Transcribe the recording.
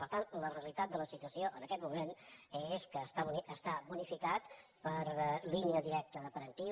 per tant la realitat de la situació en aquest moment és que està bonificat per línia directa de parentiu